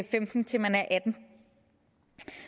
femten til man er atten år